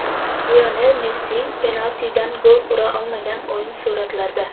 Lionel Messi penaltidan gol ura olmagan o‘yin suratlarda.